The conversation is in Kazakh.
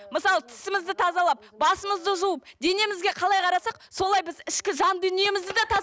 мысалы тісімізді тазалап басымызды жуып денемізге қалай қарасақ солай біз ішкі жан дүниемізді де